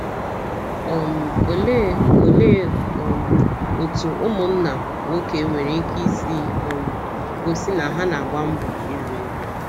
um Olee Olee um otú ụmụnna nwoke nwere ike isi um gosi na ha na - agba mbọ iru eru?